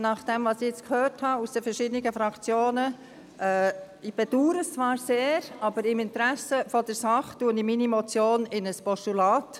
Nachdem, was ich jetzt von den verschiedenen Fraktionen gehört habe – ich bedaure das zwar sehr –, wandle ich im Interesse der Sache meine Motion in ein Postulat.